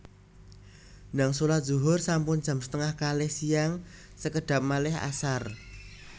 Ndang solat zuhur sampun jam setengah kalih siang sekedhap malih asar